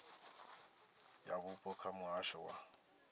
ya vhupo kha muhasho wa